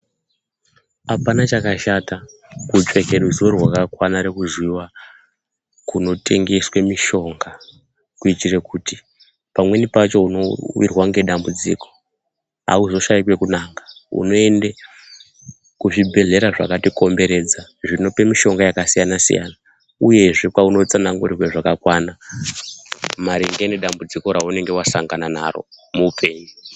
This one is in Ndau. Hapana chakashata kutsvete ruzivo rwakakwana rekuziva kunotengeswe mishonga, kuitire kuti pamweni pacho uno wirwa ngedambudziko hauzoshaikwe kunaka unoende kuzvibhedlera zvakatikomberedza zvinope mishonga yakasiyana siyana uyezve kwaunotsanangurirwe zvakakwana maringe ngedambudziko raunenge wasangana naro muhupenyu.